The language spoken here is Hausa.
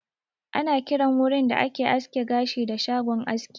Ana kiran wurin da ake aske gashi da "shagon aski"